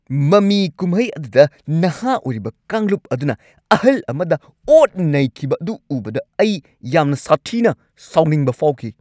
ꯃꯃꯤ ꯀꯨꯝꯍꯩ ꯑꯗꯨꯗ ꯅꯍꯥ ꯑꯣꯏꯔꯤꯕ ꯀꯥꯡꯂꯨꯞ ꯑꯗꯨꯅ ꯑꯍꯜ ꯑꯃꯗ ꯑꯣꯠ-ꯅꯩꯈꯤꯕ ꯑꯗꯨ ꯎꯕꯗ ꯑꯩ ꯌꯥꯝꯅ ꯁꯥꯊꯤꯅ ꯁꯥꯎꯅꯤꯡꯕ ꯐꯥꯎꯈꯤ꯫